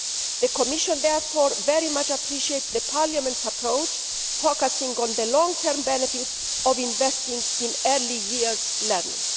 The Commission therefore very much appreciates Parliament's approach, focusing on the long term benefit of investing in early years learning.